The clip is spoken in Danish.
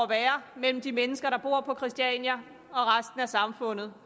være mellem de mennesker der bor på christiania og resten af samfundet